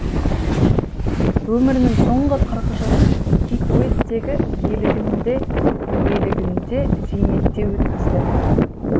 өмірінің соңғы қырық жылын кикуиттегі иелігінде зейнетте өткізді